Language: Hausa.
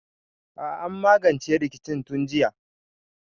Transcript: A'a an magance rikicin tun jiya